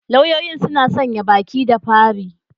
Lauyoyin suna sanya baki da fari.